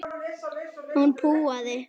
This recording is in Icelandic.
Hún púaði.